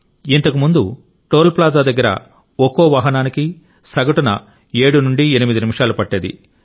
ఇంతకుముందు toll plaza దగ్గర ఒక్కో వాహనానికి సగటున 7 నుండి 8 నిమిషాలు పట్టేది